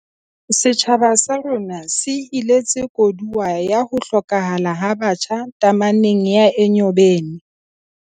Setjhaba sa rona se iletse koduwa ya ho hlokahala ha batjha tameneng ya Enyobeni